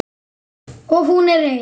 Og hún er ein.